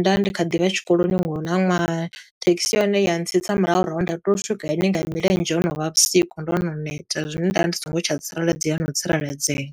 nda ndi kha ḓi vha tshikoloni, nga houḽa ṅwaha. Thekhisi ya hone ya tsitsa murahu nda tea swika hayani nga milenzhe ho no vha vhusiku, ndo no neta. Zwine nda ndi songo tsha tsireledzea no u tsireledzea.